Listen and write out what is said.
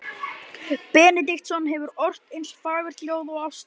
Benediktsson hefur ort eins fagurt ljóð og ástin.